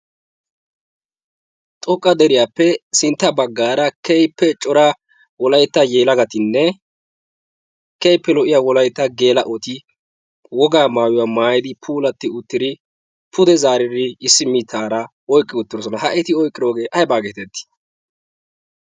xoqqa deriyaappe sintta baggaara keehippe cora wolaytta yeelagatinne keippe lo'iya wolaita geelayoti wogaa maayuwaa maayidi pulatti uttiri pude zaariiri issi mitaara oiqqi uttirosona. ha eti oyqqiroogee aybaa geetettii?